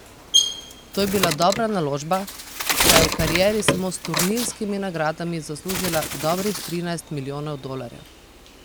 To je bila dobra naložba, saj je v karieri samo s turnirskimi nagradami zaslužila dobrih trinajst milijonov dolarjev.